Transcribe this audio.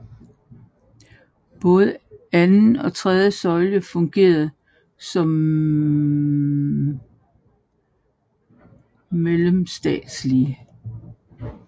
Både anden og tredje søjle fungerede som mellemstatslige